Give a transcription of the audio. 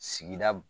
Sigida